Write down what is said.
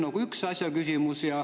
See on üks küsimus.